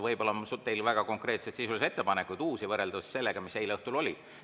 Võib-olla on teil väga konkreetseid sisulisi ettepanekud, uusi, võrreldes nendega, mis eile õhtul olid.